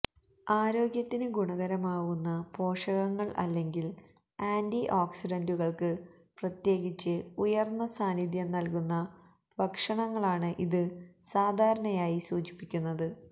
ആരോഗ്യത്തിന് ഗുണകരമാകുന്ന പോഷകങ്ങൾ അല്ലെങ്കിൽ ആന്റിഓക്സിഡൻറുകൾക്ക് പ്രത്യേകിച്ച് ഉയർന്ന സാന്നിധ്യം നൽകുന്ന ഭക്ഷണങ്ങളാണ് ഇത് സാധാരണയായി സൂചിപ്പിക്കുന്നത്